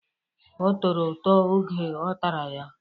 Ọ tọrọ ụtọ oge ọ tara ya.